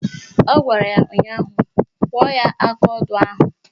Ọ gwara ya ụnyaahụ "Kụọ ya akaodo ahụ"!